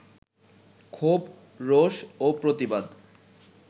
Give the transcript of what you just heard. ক্ষোভ, রোষ ও প্রতিবাদ